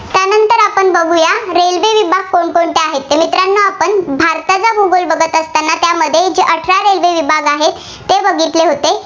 कोणकोणते आहेत? तर मित्रांनो आपण भारताचा भूगोल बघत असताना त्यामध्ये वेगवेगळे विभाग आहेत, ते बघितले होते.